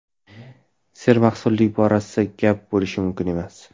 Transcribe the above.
Sermahsullik borasida gap bo‘lishi mumkin emas.